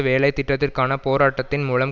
வேலை திட்டத்திற்கான போராட்டத்தின் மூலம்